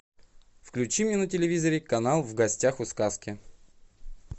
включи мне на телевизоре канал в гостях у сказки